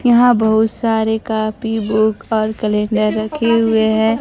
यहां बहुत सारे काफी बुक और कैलेंडर रखे हुए है।